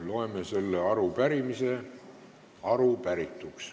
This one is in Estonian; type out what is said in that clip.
Loeme selle arupärimise vastatuks.